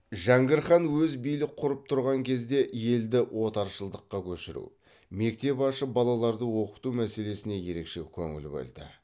жәңгір хан өзі билік құрып тұрған кезде елді отырықшылыққа көшіру мектеп ашып балаларды оқыту мәселесіне ерекше көңіл бөлді